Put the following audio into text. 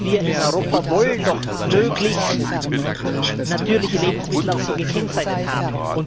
Wir in Europa wollen doch möglichst natürliche Lebensmittel auch so gekennzeichnet haben.